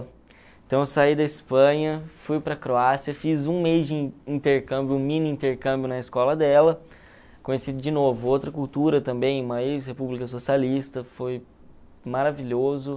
Então eu saí da Espanha, fui para a Croácia, fiz um mês de intercâmbio, um mini intercâmbio na escola dela, conheci de novo outra cultura também, uma ex-república socialista, foi maravilhoso.